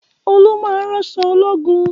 Olú máa ń ránṣọ ológun